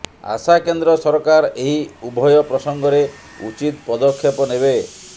ଆଶା କେନ୍ଦ୍ର ସରକାର ଏହି ଉଭୟ ପ୍ରସଙ୍ଗରେ ଉଚିତ ପଦକ୍ଷେପ ନେବେ